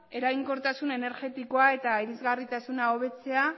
eraginkortasun energetikoa eta irisgarritasuna hobetzea